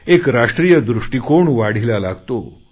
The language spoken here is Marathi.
एक राष्ट्रीय दृष्टीकोन वाढीला लागतो